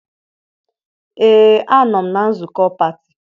ee a nọ m na nzukọ pati